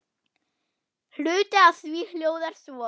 Hluti af því hljóðar svo